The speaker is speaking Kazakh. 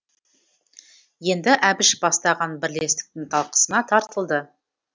енді әбіш бастаған бірлестіктің талқысына тартылды